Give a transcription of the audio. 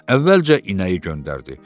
Əvvəlcə inəyi göndərdi.